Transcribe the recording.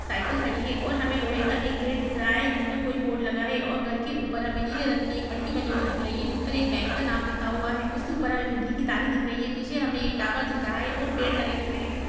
Cycle खड़ी है और हमें लोहे का एक गेट दिख रहा है जिसे पर कोई बोर्ड लगा है और घर के ऊपर हमें नीले रंग की एक पट्टी बनी हुई दिख रही है उस पर एक बैंक का नाम लिखा हुआ है उसके ऊपर हमें बिजली की तारे दिख रही है पीछे हमें एक टावर दिख रहा है और पेड़ लगे हुए है ।